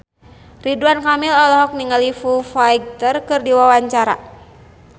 Ridwan Kamil olohok ningali Foo Fighter keur diwawancara